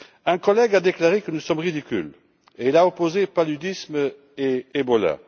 Un collègue a déclaré que nous sommes ridicules, et il a opposé paludisme et virus Ebola.